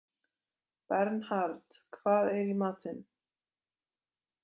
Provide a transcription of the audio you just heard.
Bernhard, hvað er í matinn?